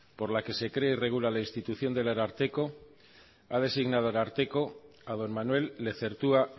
por la que se crea y regula la institución del ararteko ha designado ararteko a don manuel lezertua